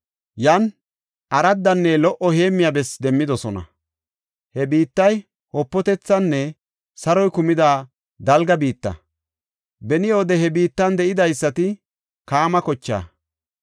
Yan araddanne lo77o heemmiya bessi demmidosona; he biittay wopatethinne saroy kumida dalga biitta. Beni wode he biittan de7idaysati Kaama kochaa.